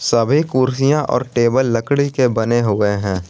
सभी कुर्सियां और टेबल लकड़ी के बने हुए हैं।